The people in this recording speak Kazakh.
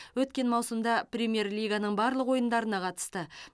өткен маусымда премьер лиганың барлық ойындарына қатысты